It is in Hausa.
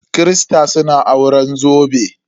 Kirista suna auren zobe.